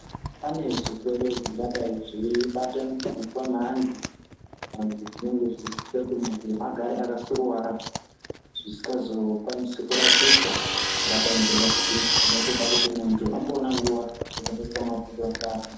Pane zvirwere zvingadai zveyi bata mupfungwa meantu kana zvirwere zvinoita kuti muntu agare aka suruvara zvisinga zokwanisiki kurapika zvingadai ngema pilizi zvinotida kuti muntu amboona nguva yekuita mabhuyo neamweni.